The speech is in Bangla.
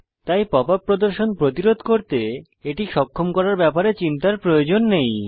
তাই pop ইউপি প্রদর্শন প্রতিরোধ করতে এটি সক্ষম করার ব্যাপারে চিন্তার প্রয়োজন নেই